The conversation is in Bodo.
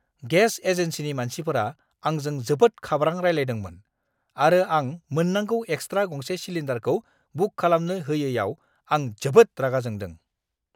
गेस एजेन्सिनि मानसिफोरा आंजों जोबोद खाब्रां रायलायदोंमोन आरो आं मोननांगौ एक्सट्रा गंसे सिलिन्डारखौ बुक खालामनो होयैआव आं जोबोद रागा जोंदों!